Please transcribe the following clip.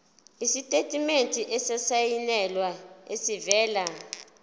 isitatimende esisayinelwe esivela